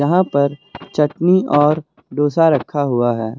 यहां पर चटनी और डोसा रखा हुआ है।